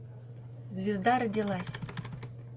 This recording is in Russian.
звезда родилась